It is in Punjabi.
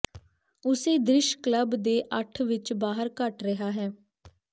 ਉਸੇ ਦ੍ਰਿਸ਼ ਕਲੱਬ ਦੇ ਅੱਠ ਵਿਚ ਬਾਹਰ ਘਟ ਰਿਹਾ ਹੈ